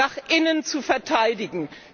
nach innen zu verteidigen.